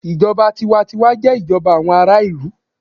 Ìjọba tiwa n tiwa jé ìjọba àwọn ará ìlú